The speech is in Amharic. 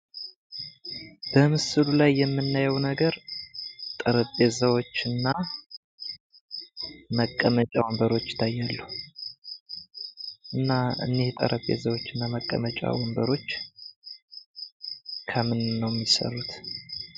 በምስሉ ላይ የምናየው ነገር ጠረጴዛዎች ና መቀመጫ ወንበሮች ይታያሉ። እና እነዚህ ጠረንጴዛዎችና ወንበሮች ከምን ነው የሚሰሩት?